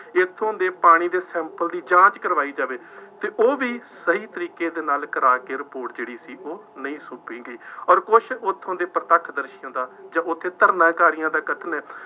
ਇੱਥੋਂ ਦੇ ਪਾਣੀ ਦੇ sample ਦੀ ਜਾਂਚ ਕਰਵਾਈ ਜਾਵੇ ਅਤੇ ਉਹ ਵੀ ਸਹੀ ਤਰੀਕੇ ਦੇ ਨਾਲ ਕਰਾ ਕੇ ਰਿਪੋਰਟ ਜਿਹੜੀ ਸੀ ਉਹ ਨਹੀਂ ਸੌਂਪੀ ਗਈ ਅੋਰ ਕੁੱਛ ਉੱਥੋਂ ਦੇ ਪ੍ਰਤੱਖ ਦਰਸ਼ਕਾਂ ਦਾ ਜਦ ਉੱਥੇ ਧਰਨਾਕਾਰੀਆਂ ਦਾ ਕਥਨ ਹੈ